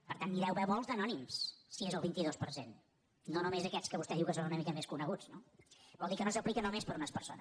per tant n’hi deu haver molts d’anònims si és el vint dos per cent no només aquests que vostè diu que són una mica més coneguts no vol dir que no s’aplica només per a unes persones